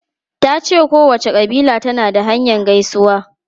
Ta ce kowace kabila tana da hanyar gaisuwa.